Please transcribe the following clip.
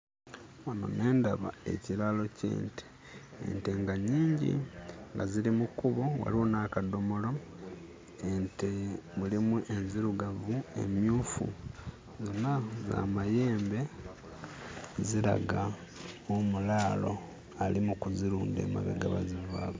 Wano ne ndaba ekiraalo ky'ente. Ente nga nnyingi nga ziri mu kkubo, waliwo n'akadomolo. Ente mulimu enzirugavu, emmyufu; zonna za mayembe, ziraga omulaalo ali mu kuzirunda emabega we ziva.